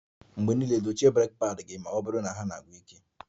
Mgbe niile dochie breeki padi ma ọ bụrụ na ha na-agwụ ike